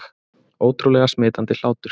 Ótrúlega smitandi hlátur